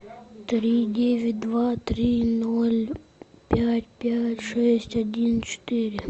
три девять два три ноль пять пять шесть один четыре